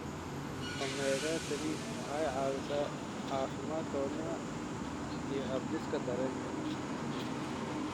Omega-3 waxay caawisaa caafimaadka wadnaha iyo habdhiska dareenka.